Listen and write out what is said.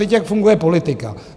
Teď jak funguje politika?